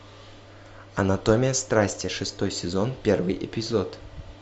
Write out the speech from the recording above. анатомия страсти шестой сезон первый эпизод